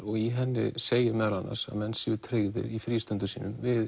og í henni segir meðal annars að menn séu tryggðir í frístundum sínum við